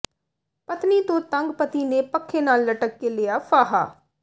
ਪਤਨੀ ਤੋਂ ਤੰਗ ਪਤੀ ਨੇ ਪੱਖੇ ਨਾਲ ਲਟਕ ਕੇ ਲਿਆ ਫਾਹਾ